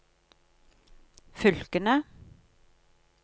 fylkene